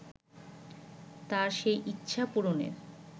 তাঁর সেই ইচ্ছা পূরণের